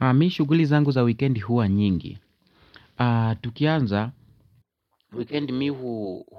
Mimi shughuli zangu za wikendi huwa nyingi. Tukianza wikendi mimi